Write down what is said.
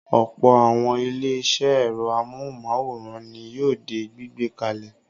Ọ̀pọ̀ àwọn ilé-iṣẹ́ ẹ̀rọ amóhùmáwòhán ni yóò di gbígbé kalẹ̀.